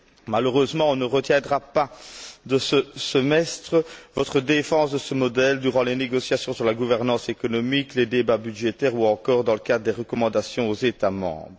Malheureusement, on ne retiendra pas de ce semestre votre défense de ce modèle durant les négociations sur la gouvernance économique, les débats budgétaires ou encore dans le cadre des recommandations aux États membres.